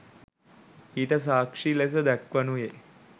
ඊට සාක්‍ෂි ලෙස දක්වනුයේ